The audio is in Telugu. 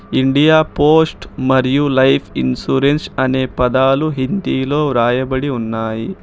ఇండియా పోస్ట్ మరియు లైఫ్ ఇన్సూరెన్స్ అనే పదాలు హిందీలో రాయబడి ఉన్నాయి.